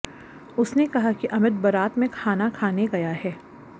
उसने कहा कि अमित बरात में खाना खाने गया है